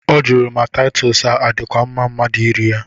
Ọ jụrụ ma Taịtọs a adịkwa mma mmadụ iri ya?